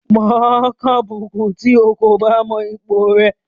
Wà á kàbùkùn tí o kò bá mọ ipò rẹ.